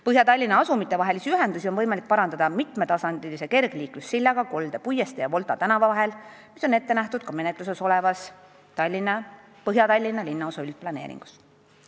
Põhja-Tallinna asumite vahelisi ühendusi on võimalik parandada mitmetasandilise kergliiklussillaga Kolde puiestee ja Volta tänava vahel, mis on ette nähtud ka menetluses olevas Põhja-Tallinna linnaosa üldplaneeringus.